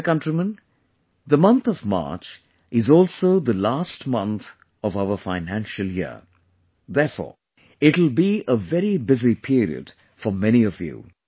My dear countrymen, the month of March is also the last month of our financial year, therefore, it will be a very busy period for many of you